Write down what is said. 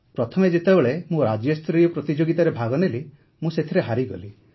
ପ୍ରଥମେ ଯେତେବେଳେ ମୁଁ ରାଜ୍ୟସ୍ତରୀୟ ପ୍ରତିଯୋଗିତାରେ ଭାଗ ନେଲି ମୁଁ ସେଥିରେ ହାରିଗଲି